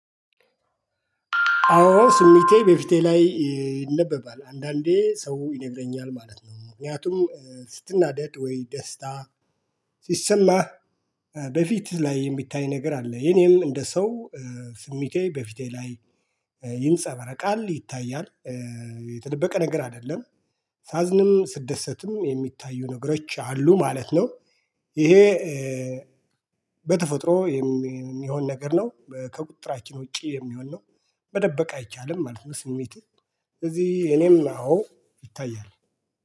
አዎ ስሚቴ በፊቴ ላይ ይነበባል አንዳንዴ ሰው ይነግረኛል ማለት ነው ምክንያቱም ስትናደድ ወይ ደስታ። ሲሰማህ በፊት ላይ የሚታይ ነገር አለ። የኔም እንደ ሰው ስሚቴ በፊቴ ላይ ይንጸበረቃል ይታያል። የተደበቀ ነገር አይደለም። ሳዝንም ስትደሰትም የሚታዩ ነገሮች አሉ ማለት ነው። ይሄ በተፈጥሮ የሚሆን ነገር ነው። ከቁጥራችን ውጪ የሚሆን ነው። መደበቅ አይቻልም ማለት ነው። ስሜትህ ስለዚህ የኔም አዎ ይታያል።